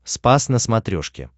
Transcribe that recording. спас на смотрешке